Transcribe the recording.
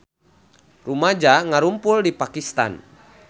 Rumaja ngarumpul di Pakistan